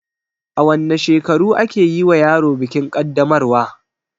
A wanne shekaru ake yiwa yaro bikin kaddamarwa?